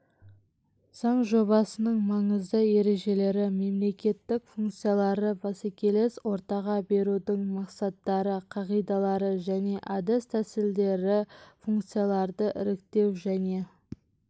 заң жобасының маңызды ережелері мемлекеттік функцияларды бәсекелес ортаға берудің мақсаттары қағидалары және әдіс-тәсілдері функцияларды іріктеу және